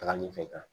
Taga ɲɛfɛ